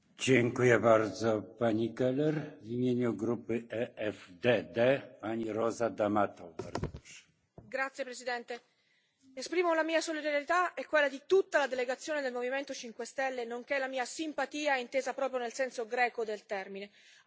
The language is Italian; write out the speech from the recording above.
Signor Presidente, onorevoli colleghi, esprimo la mia solidarietà e quella di tutta la delegazione del Movimento 5 Stelle, nonché la mia simpatia, intesa proprio nel senso greco del termine, al popolo dell'Attica per le gravissime perdite